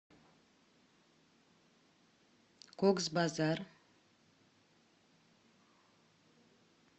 кокс базар